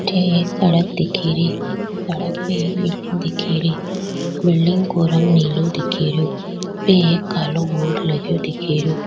अठ एक सड़क दिखे री सड़क पे एक बिल्डिंग दिखे री बिल्डिंग को रंग नीलो दिखेरो उप एक कालों बोर्ड लगो दिख रो।